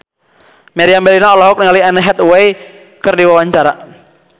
Meriam Bellina olohok ningali Anne Hathaway keur diwawancara